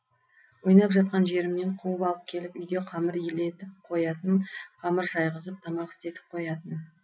ойнап жатқан жерімнен қуып алып келіп үйде қамыр илетіп қоятын қамыр жайғызып тамақ істетіп қоятын